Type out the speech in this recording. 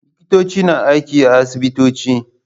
Likitoci na aiki a asibitoci.